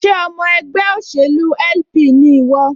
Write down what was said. Ṣé ọmọ ẹgbẹ́ òṣèlú LP ni ìwọ?